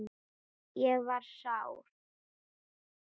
Ég var sár.